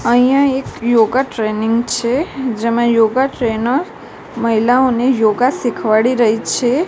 અહીંયા એક યોગા ટ્રેનિંગ છે જેમાં યોગા ટ્રેનર મહિલાઓને યોગા શીખવાડી રહી છે.